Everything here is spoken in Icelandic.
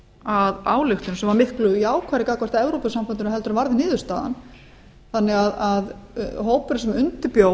að ályktun sem var miklu jákvæðari gagnvart evrópusambandinu en varð niðurstaðan þannig að hópurinn sem undirbjó